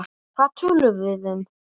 Hvað töluðum við um?